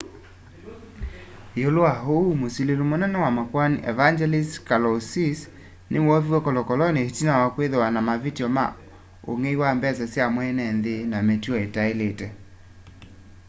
iulu wa uu musili munene wa makoani evangelos kalousis ni woviwe kolokoloni itina wa kwithiwa na mavityo ma ung'ei wa mbesa sya mweenenthi na mituo itailite